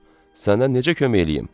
Sənə necə kömək eləyim?